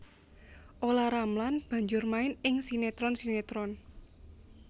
Olla Ramlan banjur main ing sinetron sinetron